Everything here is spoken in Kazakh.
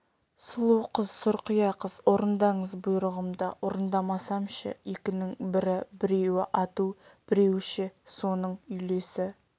сұлу қыз сұрқия қыз орындаңыз бұйрығымды орындамасам ше екінің бірі біреуі ату біреуі ше соның үйлесі